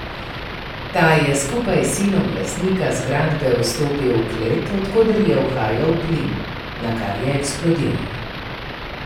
Ta je skupaj s sinom lastnika zgradbe vstopil v klet, od koder je uhajal plin, nakar je eksplodiralo.